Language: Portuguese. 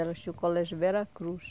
Elas tinham o colégio Veracruz.